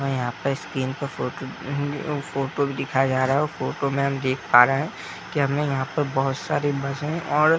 और यहाँ पर स्क्रीन पर फोटो फोटो भी दिखाया जा रहा है और फोटो में हम देख पा रहे है की हमें यहाँ पर बहोत सारी बसे और--